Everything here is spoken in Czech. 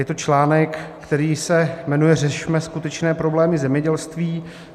Je to článek, který se jmenuje Řešme skutečné problémy zemědělství.